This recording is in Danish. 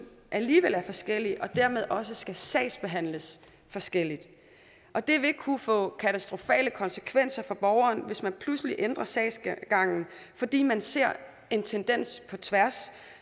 alligevel er forskellige og dermed også skal sagsbehandles forskelligt og det vil kunne få katastrofale konsekvenser for borgeren hvis man pludselig ændrer sagsgangen fordi man ser en tendens på tværs